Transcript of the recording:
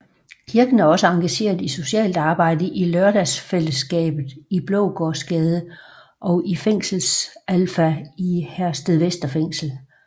Kirken er også engageret i socialt arbejde i Lørdagsfællesskabet i Blågårdsgade og i Fængselsalpha i Herstedvester Fængsel